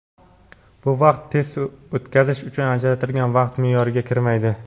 Bu vaqt test o‘tkazish uchun ajratilgan vaqt me’yoriga kirmaydi.